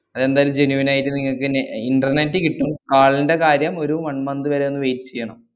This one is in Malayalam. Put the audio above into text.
അതെന്തായാലും genuine നായിട്ട് നിങ്ങക്കെന്നെ internet കിട്ടും call ന്‍റെ കാര്യം ഒരു one month വരെയൊന്ന് wait ചെയ്യണം.